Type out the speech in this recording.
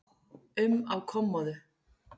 um á kommóðu.